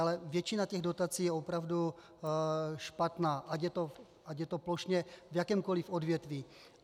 Ale většina těch dotací je opravdu špatná, ať je to plošně v jakémkoli odvětví.